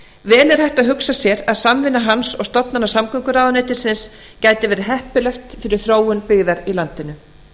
vel er hægt að hugsa sér að samvinna hans og stofnana samgönguráðuneytisins gæti verið heppileg fyrir þróun byggðar í landinu